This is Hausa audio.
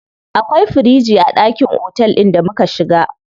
Akwai firiji a ɗakin otel ɗin da muka shiga.